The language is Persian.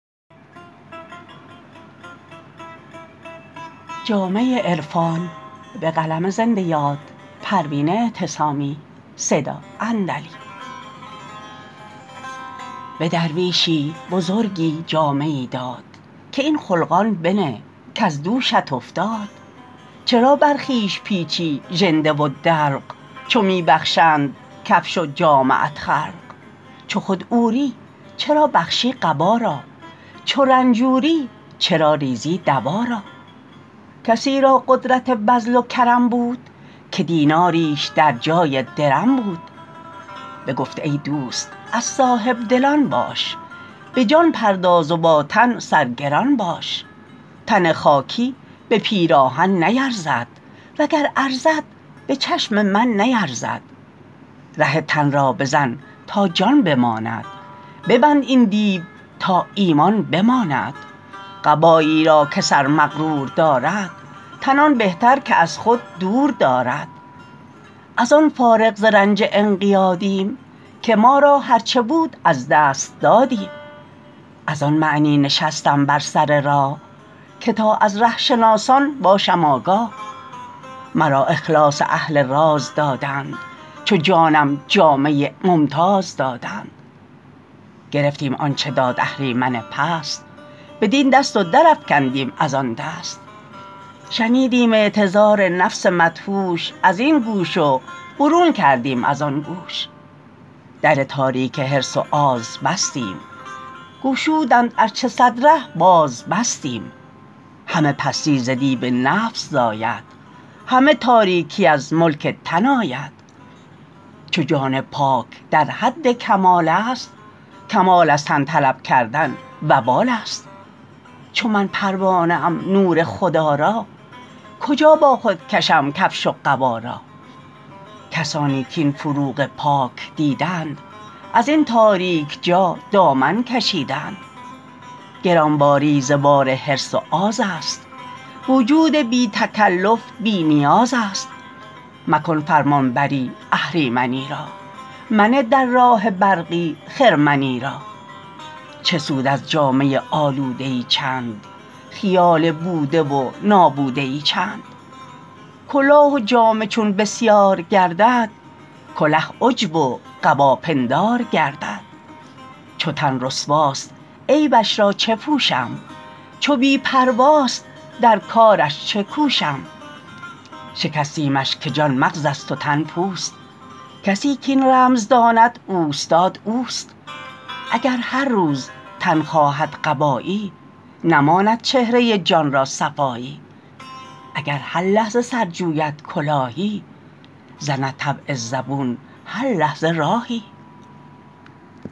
به درویشی بزرگی جامه ای داد که این خلقان بنه کز دوشت افتاد چرا بر خویش پیچی ژنده و دلق چو می بخشند کفش و جامه ات خلق چو خود عوری چرا بخشی قبا را چو رنجوری چرا ریزی دوا را کسی را قدرت بذل و کرم بود که دیناریش در جای درم بود بگفت ای دوست از صاحبدلان باش بجان پرداز و با تن سرگران باش تن خاکی به پیراهن نیرزد وگر ارزد بچشم من نیرزد ره تن را بزن تا جان بماند ببند این دیو تا ایمان بماند قبایی را که سر مغرور دارد تن آن بهتر که از خود دور دارد از آن فارغ ز رنج انقیادیم که ما را هر چه بود از دست دادیم از آن معنی نشستم بر سر راه که تا از ره شناسان باشم آگاه مرا اخلاص اهل راز دادند چو جانم جامه ممتاز دادند گرفتیم آنچه داد اهریمن پست بدین دست و در افکندیم از آندست شنیدیم اعتذار نفس مدهوش ازین گوش و برون کردیم از آن گوش در تاریک حرص و آز بستیم گشودند ار چه صد ره باز بستیم همه پستی ز دیو نفس زاید همه تاریکی از ملک تن آید چو جان پاک در حد کمال است کمال از تن طلب کردن وبال است چو من پروانه ام نور خدا را کجا با خود کشم کفش و قبا را کسانی کاین فروغ پاک دیدند ازین تاریک جا دامن کشیدند گرانباری ز بار حرص و آز است وجود بی تکلف بی نیاز است مکن فرمانبری اهریمنی را منه در راه برقی خرمنی را چه سود از جامه آلوده ای چند خیال بوده و نابوده ای چند کلاه و جامه چون بسیار گردد کله عجب و قبا پندار گردد چو تن رسواست عیبش را چه پوشم چو بی پرواست در کارش چه کوشم شکستیمش که جان مغزست و تن پوست کسی کاین رمز داند اوستاد اوست اگر هر روز تن خواهد قبایی نماند چهره جان را صفایی اگر هر لحظه سر جوید کلاهی زند طبع زبون هر لحظه راهی